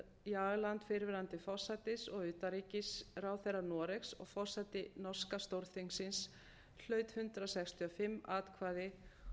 kjörinn thorbjørn jagland fyrrverandi forsætis og utanríkisráðherra noregs og forseti norska stórþingsins hlaut hundrað sextíu og fimm atkvæði